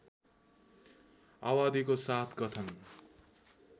आवादीको साथ गठन